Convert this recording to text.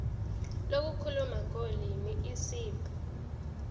lokukhuluma ngolimi isib